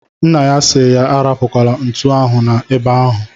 Nna ya si ya arapukwala ntu ahụ na ebe ahu